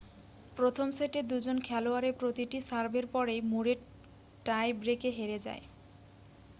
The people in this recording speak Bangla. প্রথম সেটে দুজন খেলোয়াড়ের প্রতিটি সার্ভের পরেই ম্যুরে টাই ব্রেকে হেরে যায়